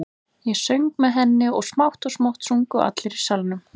Ég söng með henni og smátt og smátt sungu allir í salnum.